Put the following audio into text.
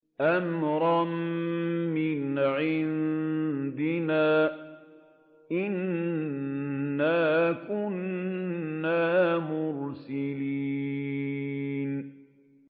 أَمْرًا مِّنْ عِندِنَا ۚ إِنَّا كُنَّا مُرْسِلِينَ